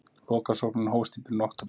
Lokasóknin hófst í byrjun október.